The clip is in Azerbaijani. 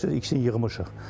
Görürsüz ikisini yığmışıq.